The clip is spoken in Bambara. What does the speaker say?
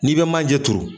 N'i bɛ manje turu